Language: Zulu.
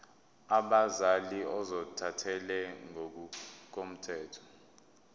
abazali ozothathele ngokomthetho